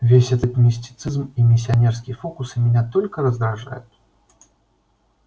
весь этот мистицизм и миссионерские фокусы меня только раздражают